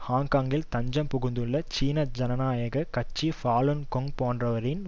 ஹாங்காங்கில் தஞ்சம் புகுந்துள்ள சீன ஜனநாயக கட்சி ஃபாலுன் கொங் போன்றவற்றின்